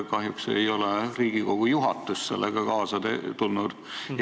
Kahjuks ei ole Riigikogu juhatus sellega kaasa tulnud.